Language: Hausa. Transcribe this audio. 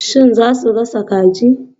Shin za ku gasa kajin?